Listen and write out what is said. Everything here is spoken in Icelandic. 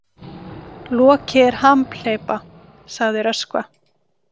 Loki er hamhleypa, sagði Röskva.